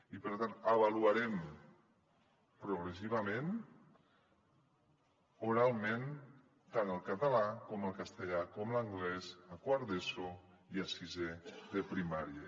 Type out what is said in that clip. i per tant avaluarem progressivament oralment tant el català com el castellà com l’anglès a quart d’eso i a sisè de primària